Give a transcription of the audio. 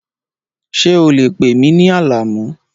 Ṣé o lè pè mí ní Alamu?